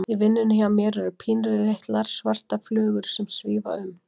Í vinnunni hjá mér eru pínulitlar, svartar flugur sem að svífa um.